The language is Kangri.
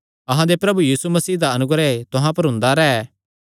अहां दे प्रभु यीशु मसीह दा अनुग्रह तुहां पर हुंदा रैंह्